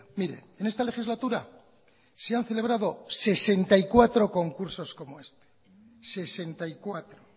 mire en esta legislatura se han celebrado sesenta y cuatro concursos como este sesenta y cuatro